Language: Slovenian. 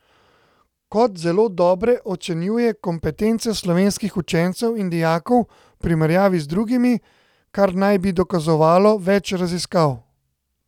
Kot zelo dobre ocenjuje kompetence slovenskih učencev in dijakov v primerjavi z drugimi, kar naj bi dokazovalo več raziskav.